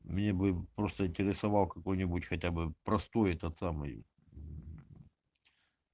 мне бы просто интересовал какой-нибудь хотя бы простой этот самый